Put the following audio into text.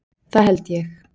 Það held ég.